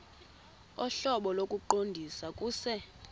ohlobo lokuqondisa kuse